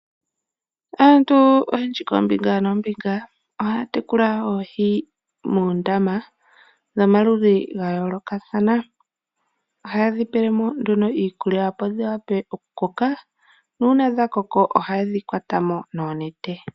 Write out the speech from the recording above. Aantu oyendji koombinga noombinga ohaya tekula oohi moondama dhomaludhi gayoolokathana . Ohayedhi pelemo nduno iikulya opo dhiwape okukoka . Uuna dhakoko ohayedhi kwatamo moonete.